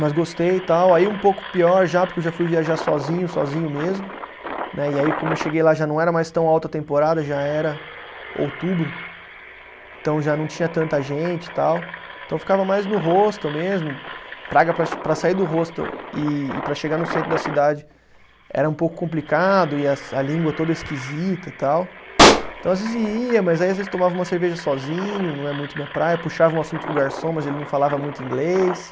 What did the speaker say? Mas gostei e tal, aí um pouco pior já, porque eu já fui viajar sozinho, sozinho mesmo, né, e aí como eu cheguei lá já não era mais tão alta temporada, já era outubro, então já não tinha tanta gente e tal, então eu ficava mais no hostel mesmo, praga para che, para sair do hostel e e para chegar no centro da cidade era um pouco complicado e a língua toda esquisita e tal, então às vezes ia, mas aí às vezes tomava uma cerveja sozinho, não é muito minha praia, puxava um assunto com o garçom, mas ele não falava muito inglês,